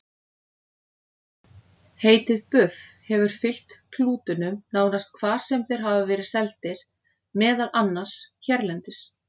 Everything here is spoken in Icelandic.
Heitið buff hefur fylgt klútunum nánast hvar sem þeir hafa verið seldir, meðal annars hérlendis.